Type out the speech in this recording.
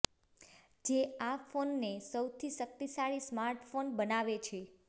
જે આ ફોનને સૌથી શક્તિશાળી સ્માર્ટફોન બનાવે છે